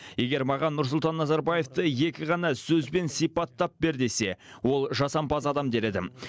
егер маған нұрсұлтан назарбаевты екі ғана сөзбен сипаттап бер десе ол жасампаз адам дер едім